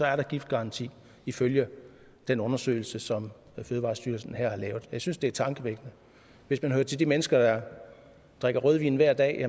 er der giftgaranti ifølge den undersøgelse som fødevarestyrelsen her har lavet jeg synes det er tankevækkende hvis man hører til de mennesker der drikker rødvin hver dag